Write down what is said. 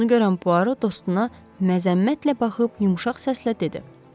Bunu görən Puaro dostuna məzəmmətlə baxıb yumşaq səslə dedi: